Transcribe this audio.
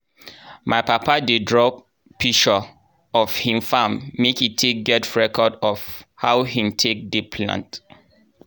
my papa dey draw pishure of hin farm make e take get record of how hin take dey plant.